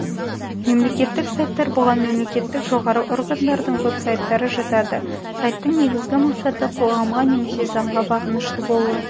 мемлекеттік сайттар бұған мемлекеттік жоғарғы органдардың вебсайттары жатады сайттың негізгі мақсаты қоғамға немесе заңға бағынышты болу